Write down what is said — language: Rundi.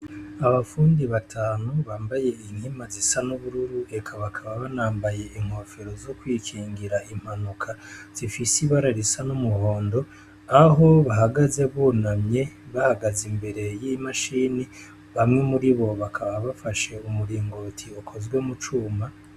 Abafundi batanu bambaye inkima zisa n'ubururu, eka bakaba banambaye inkofero zo kwikingira impanuka zifise ibara risa n'umuhondo, aho bahagaze bunamye bahagaze imbere y'imashini, bamwe muri bo bakaba bafashe umuringoti ukozwe mu cuma.